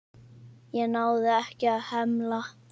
Ég náði ekki að hemla.